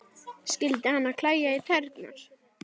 Skyldi hana klæja í tærnar?